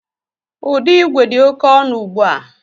Ụdọigwe dị oké ọnụ ùgbú à